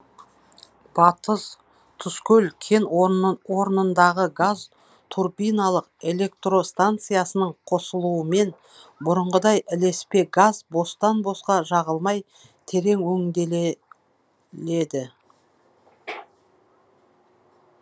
батыс тұзкөл кен орнындағы газ турбиналық электростанциясының қосылуымен бұрынғыдай ілеспе газ бостан босқа жағылмай терең